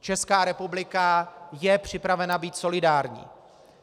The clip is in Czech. Česká republika je připravena být solidární.